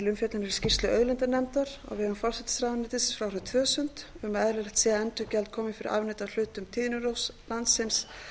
umfjöllunar í skýrslu auðlindanefndar á vegum forsætisráðuneytisins frá árinu tvö þúsund um að eðlilegt sé að endurgjald komi fyrir afnot af hlutum tíðnirófs landsins